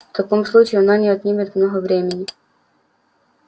в таком случае она не отнимет много времени